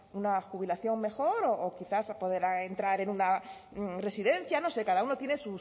una jubilación mejor o quizás poder entrar en una residencia no sé cada uno tiene